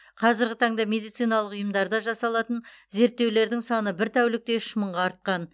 қазіргі таңда медициналық ұйымдарда жасалатын зерттеулердің саны бір тәулікте үш мыңға артқан